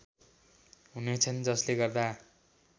हुनेछन् जसले गर्दा